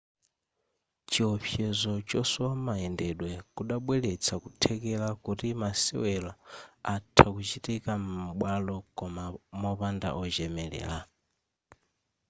chiopsezo chosowa mayendedwe kudabweretsa kuthekera kuti masewero atha kuchitika m'bwalo koma mopanda ochemelera